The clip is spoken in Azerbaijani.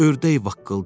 Ördək vaqqıldadı.